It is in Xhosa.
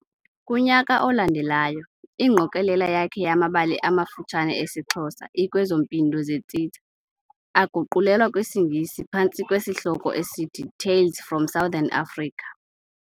Kunyaka olandelayo, igqokelela yakhe yamabali amafutshane esiXhosa i-Kwezo Mpindo zeTsitsa aguqulelwa kwisiNgesi phantsi kwesihloko eisthi Tales from Southern Africa.